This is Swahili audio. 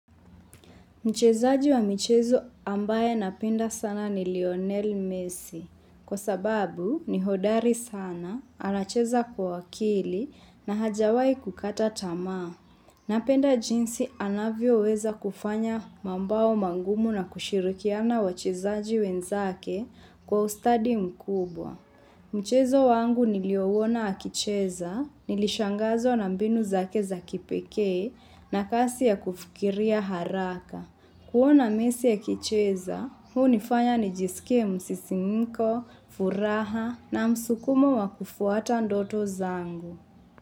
Mchezaji wa michezo ambaye napenda sana ni Lionel Messi. Kwa sababu ni hodari sana, anacheza kwa akili na hajawai kukata tamaa. Napenda jinsi anavyoweza kufanya mambao mangumu na kushirikiana wachezaji wenzake kwa ustadi mkubwa. Mchezo wangu niliouona akicheza, nilishangazwa na mbinu zake za kipekee na kasi ya kufikiria haraka. Kuona messi akicheza, hunifanya nijisikie msisimko, furaha na msukumo wa kufuata ndoto zangu.